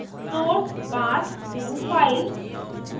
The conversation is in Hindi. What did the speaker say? source path _ to _ file